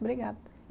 Obrigada.